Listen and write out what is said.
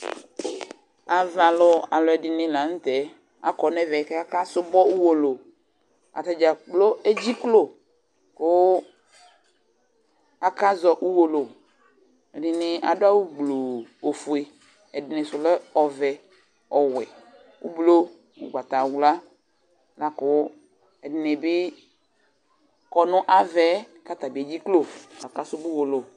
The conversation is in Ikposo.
Avalʋ alʋɛɖini lanʋtɛAkɔ nʋvɛ k'akasubɔ UwolowuAtadzakplo edziklo kʋ akazɔ Uwolowu Ɛɖini aɖʋ awu gbluuu ofue, ɛɖinisʋ lɛ ɔvɛ, ɔwɛ, ʋblɔ, ʋgbatawlua Lakʋ ɛɖinibi kɔnʋ avaɛ katabi dʒiklo k'asʋbɔ Uwolowu